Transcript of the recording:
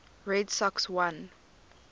red sox won